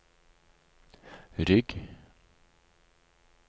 rygg